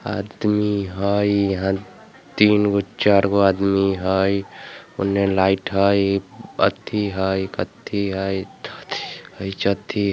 आदमी हई यहाँ तीनगो चारगो आदमी हाई उन ने लाइट हाई अथि हाई कथि हाई